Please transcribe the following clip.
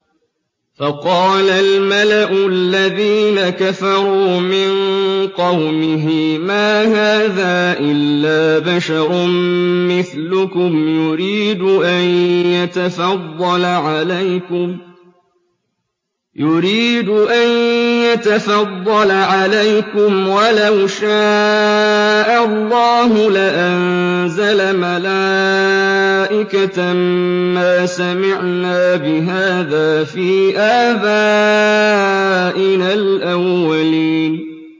فَقَالَ الْمَلَأُ الَّذِينَ كَفَرُوا مِن قَوْمِهِ مَا هَٰذَا إِلَّا بَشَرٌ مِّثْلُكُمْ يُرِيدُ أَن يَتَفَضَّلَ عَلَيْكُمْ وَلَوْ شَاءَ اللَّهُ لَأَنزَلَ مَلَائِكَةً مَّا سَمِعْنَا بِهَٰذَا فِي آبَائِنَا الْأَوَّلِينَ